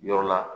Yɔrɔ la